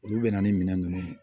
Olu bɛ na ni minɛn ninnu ye